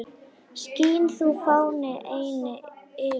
Skín þú, fáni, eynni yfir